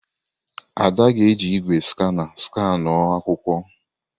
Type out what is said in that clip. Ada ga-eji igwé skana skanuo akwụkwọ.